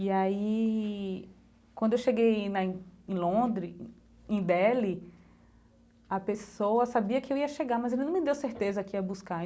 E aí, quando eu cheguei na... em Londres, em em Deli, a pessoa sabia que eu ia chegar, mas ele não me deu certeza que ia buscar.